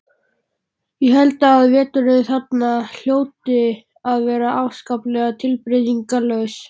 Ég held að veturnir þarna hljóti að vera afskaplega tilbreytingarlausir.